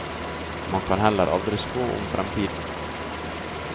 Man kan heller aldri spå om framtiden.